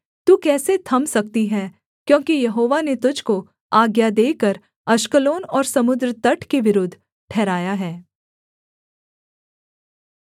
तू कैसे थम सकती है क्योंकि यहोवा ने तुझको आज्ञा देकर अश्कलोन और समुद्र तट के विरुद्ध ठहराया है